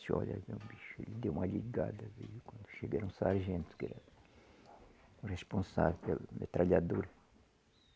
Disse olha, aí vem bicho, ele deu uma ligada quando chega era o sargento, que era responsável pela metralhadora.